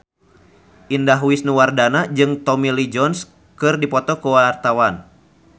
Indah Wisnuwardana jeung Tommy Lee Jones keur dipoto ku wartawan